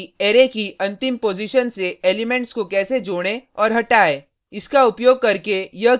पहले सीखते हैं कि अरै की अंतिम पॉजिशन से एलिमेंट्स को कैसे जोड़ें और हटाएँ